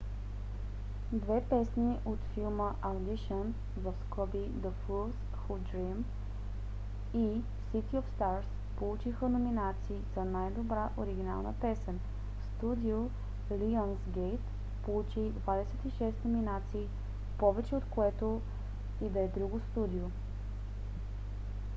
две песни от филма audition the fools who dream и city of stars получиха номинации за най-добра оригинална песен. студио lionsgate получи 26 номинации – повече от което и да е друго студио